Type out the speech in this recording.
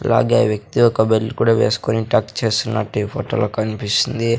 అలాగే వ్యక్తి ఒక బెల్ట్ కూడా వేసుకొని టక్ చేస్తున్నట్టు ఈ ఫోటోలో కనిపిస్తుంది.